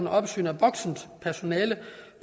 håndterer det